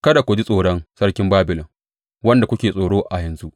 Kada ku ji tsoron sarkin Babilon, wanda kuke tsoro a yanzu.